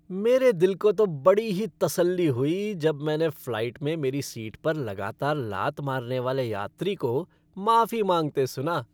मेरे दिल को तो बड़ी ही तसल्ली हुई जब मैंने फ़्लाइट में मेरी सीट पर लगातार लात मारने वाले यात्री को माफी माँगते सुना।